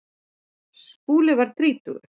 Skúli varð þrítugur.